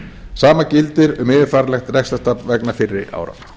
sama gildir um yfirfæranlegt rekstrartap vegna fyrri ára